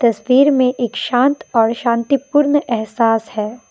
तस्वीर में एक शांत और शांतिपूर्ण अहसास है।